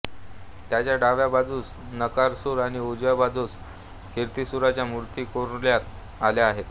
त्याच्या डाव्या बाजूस नरकासूर आणि उजव्या बाजूस किर्तीसुराच्या मूर्ती कोरण्यात आल्या आहेत